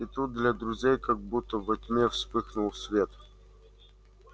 и тут для друзей как будто во тьме вспыхнул свет